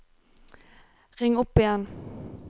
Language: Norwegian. ring opp igjen